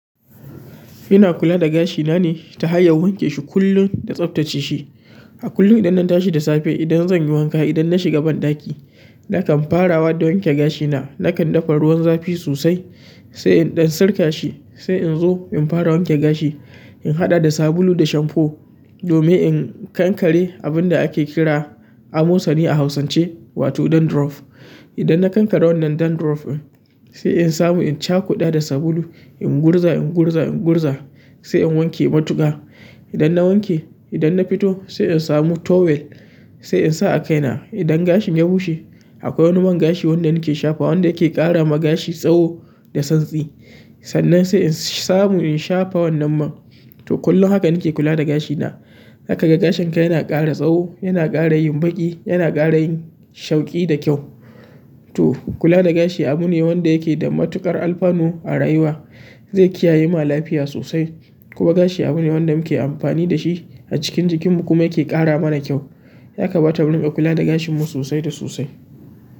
Ina kula da gashi ne ta hanyar wanke shi kullum da tsaftace shi. A kullum idan na tashi da safe, idan zan yi wanka, idan na shiga banɗaki, nakan farawa da wanke gashina. Nakan dafa ruwan zafi sosai sai in ɗin sirka shi, sai in zo in fara wanke gashi. In haɗa da sabulu da shamfo domin in kankare abin da ake kira amosani a hausance wato dandruff. Idan na kankare wannan dandruff din, sai in samu in cakuda da sabulu in gurza, in gurza, in gurza sai in wanke matuka. Idan na wanke, idan na fito sai in samu towel sai in sa a kaina. Idan gashin ya bushe, akwai wani man gashi wanda nake shafa wanda yake ƙara ma gashi tsawo da santsi. Sannan sai in samu in shafa wannan man. To, kullum haka nake kula da gashina. Za ka ga gashin ka yana ƙara tsawo, yana ƙara yin baƙi, yana ƙara yin sheƙi da kyau. To, kula da gashi abune wanda yake da matuƙar alfanu a rayuwa. Zai kiyaye ma lafiya sosai. Kuma gashi abune wanda muke amfani da shi a cikin jikinmu kuma yake ƙara mana kyau. Ya kamata mu riƙa kula da gashinmu sosai da sosai.